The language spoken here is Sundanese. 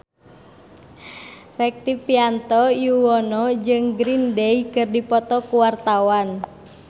Rektivianto Yoewono jeung Green Day keur dipoto ku wartawan